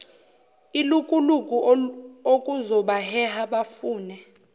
ilukuluku okuzobaheha bafune